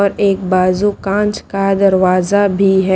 और एक बाजू कांच का दरवाजा भी है।